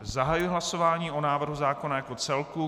Zahajuji hlasování o návrhu zákona jako celku.